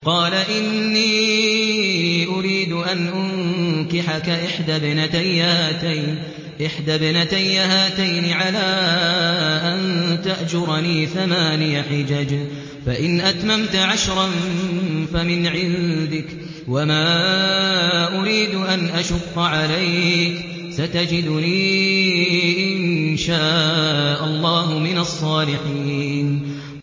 قَالَ إِنِّي أُرِيدُ أَنْ أُنكِحَكَ إِحْدَى ابْنَتَيَّ هَاتَيْنِ عَلَىٰ أَن تَأْجُرَنِي ثَمَانِيَ حِجَجٍ ۖ فَإِنْ أَتْمَمْتَ عَشْرًا فَمِنْ عِندِكَ ۖ وَمَا أُرِيدُ أَنْ أَشُقَّ عَلَيْكَ ۚ سَتَجِدُنِي إِن شَاءَ اللَّهُ مِنَ الصَّالِحِينَ